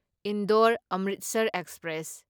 Indore Amritsar express